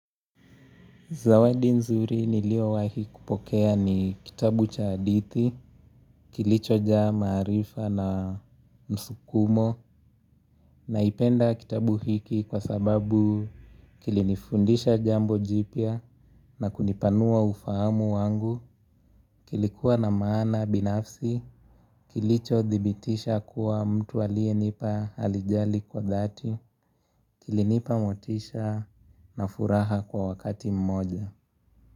Zawadi nzuri niliowahi kupokea ni kitabu cha hadithi, kilichojaa maarifa na msukumo, naipenda kitabu hiki kwa sababu kilinifundisha jambo jipya na kunipanua ufahamu wangu, kilikuwa na maana binafsi, kilichothibitisha kuwa mtu aliyenipa halijali kwa dhati, kilinipa motisha na furaha kwa wakati mmoja.